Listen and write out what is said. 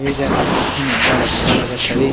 ये जगह ला देखे म अब्बड़ अच्छा लगत हवे--